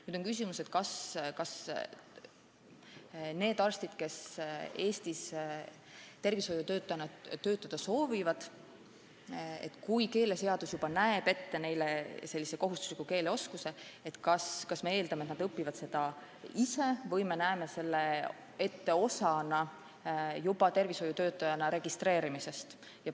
Nüüd on küsimus, kas need arstid, kes Eestis tervishoiutöötajana töötada soovivad ja kellelt keeleseadus juba nõuab teatud keeleoskust, peavad eesti keelt õppima ise või me näeme selle ette osana nende tervishoiutöötajana registreerimisest.